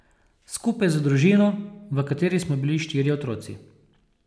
Skupaj z družino, v kateri smo bili štirje otroci.